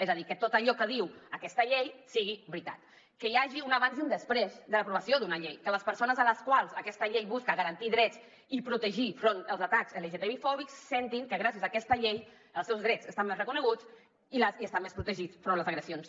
és a dir que tot allò que diu aquesta llei sigui veritat que hi hagi un abans i un després de l’aprovació d’una llei que les persones a les quals aquesta llei busca garantir drets i protegir enfront dels atacs lgtbi fòbics sentin que gràcies a aquesta llei els seus drets estan més reconeguts i estan més protegits enfront de les agressions